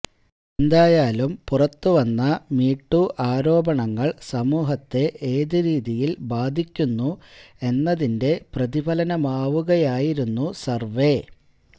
എന്തായാലും പുറത്തുവന്ന മീടൂ ആരോപണങ്ങള് സമൂഹത്തെ ഏതുരീതിയില് ബാധിക്കുന്നു എന്നതിന്റെ പ്രതിഫലനമാവുകയായിരുന്നു സര്വേ